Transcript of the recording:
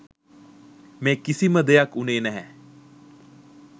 මේ කිසිම දෙයක් වුණේ නැහැ.